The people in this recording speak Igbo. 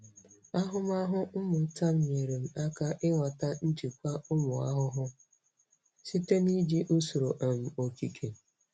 Ahụmahụ mmụta m nyeere m aka ịghọta njikwa ụmụ ahụhụ site na iji usoro um okike.